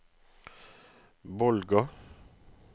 Bolga